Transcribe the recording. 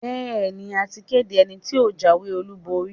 Bẹ́ẹ̀ni, a ti kéde ẹni tí ó jáwé-olúborí.